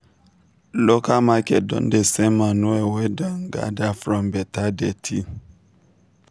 local market don dey sell manure wey dem gather from beta dirty.